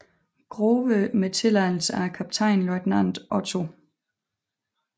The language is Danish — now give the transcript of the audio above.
Grove med tilladelse af kaptajnløjtnant Otto Chr